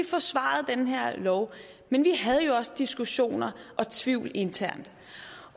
forsvarede den her lov men vi havde jo også diskussioner og tvivl internt